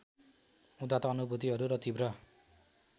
उदात्त अनुभूतिहरू र तीव्र